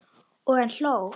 Og hann hló.